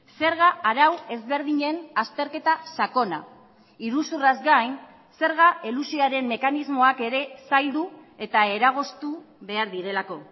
zerga arau ezberdinen azterketa sakona iruzurraz gain zerga elusioaren mekanismoak ere zaildu eta eragoztu behar direlako